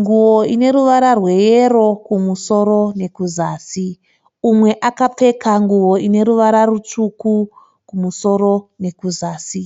nguwo ineruvara rweyero kumusoro nekuzasi, umwe akapfeka ineruvara rutsvuku kumusoro nekuzasi.